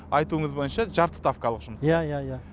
айтуыңыз бойынша жарты ставкалық жұмыс иә иә иә